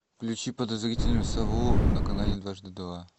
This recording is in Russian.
включи подозрительную сову на канале дважды два